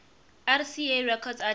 rca records artists